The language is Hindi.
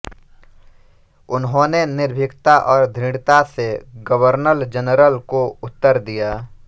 उन्होंने निर्भीकता और दृढ़ता से गवर्नर जनरल को उत्तर दिया